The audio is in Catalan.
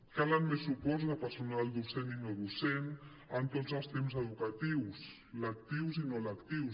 calen més suports de personal docent i no docent en tots els temps educatius lectius i no lectius